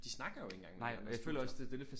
De snakker jo ikke engang med de andre studier